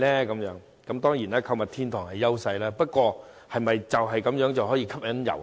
購物天堂當然是我們的優勢，但是否這樣便可以吸引遊客？